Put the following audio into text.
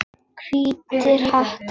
Hvítir hattar.